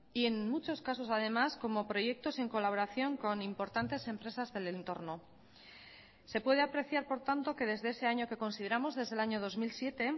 y en muchos casos además como proyectos en colaboración con importantes empresas del entorno se puede apreciar por tanto que desde ese año que consideramos desde el año dos mil siete